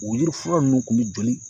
O yirifura nunnu kun bi joli